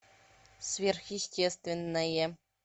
сверхъестественное